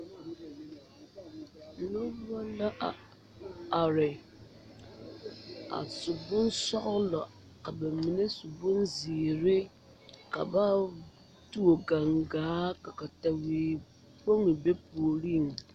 Noba la a are a su bonsɔglɔ ka ba mine su bonzeere ka ba tuo gangaa ka katewekpoŋ be puoriŋ.